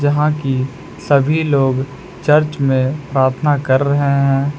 हां कि सभी लोग चर्च में प्रार्थना कर रहे हैं।